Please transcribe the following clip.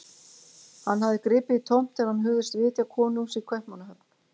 Hann hafði gripið í tómt þegar hann hugðist vitja konungs í Kaupmannahöfn.